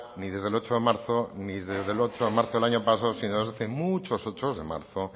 ni desde el ocho de marzo ni desde el ocho de marzo del año pasado sino desde hace muchos ochos de marzo